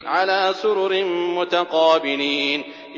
عَلَىٰ سُرُرٍ مُّتَقَابِلِينَ